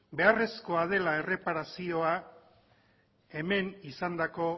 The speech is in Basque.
beharrezkoa dela erreparazioa hemen izandako